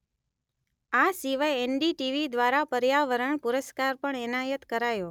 આ સિવાય એન_Letter ડી_Letter ટી_Letter વી_Letter દ્વારા પર્યાવરણ પુરસ્કાર પણ એનાયત કરાયો